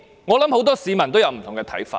我相信很多市民都有不同看法。